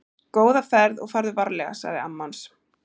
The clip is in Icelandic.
Góða ferð og farðu varlega, sagði amma hans.